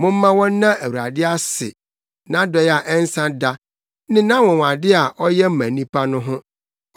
Momma wɔnna Awurade ase, nʼadɔe a ɛnsa da ne nʼanwonwade a ɔyɛ ma nnipa no ho,